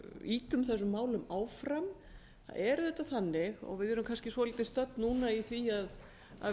ýtum þessum málum áfram það er auðvitað þannig og við erum kannski stödd svolítið núna í því að